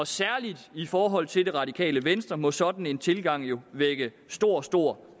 særlig i forhold til det radikale venstre må sådan en tilgang jo vække stor stor